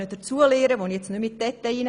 Ich will dazu nicht in die Details gehen.